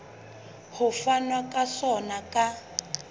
ho fanwa ka sona ka